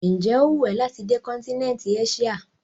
Ǹjẹ́ ó wù ẹ́ láti dé kọ́ńtíneńtì Eṣíà?